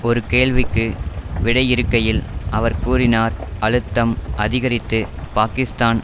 ஒரு கேள்விக்கு விடையிறுக்கையில் அவர் கூறினார் அழுத்தம் அதிகரித்து பாக்கிஸ்தான்